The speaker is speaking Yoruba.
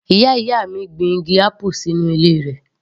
Ìyá ìyá mi gbin igi apple sínú ilé rẹ̀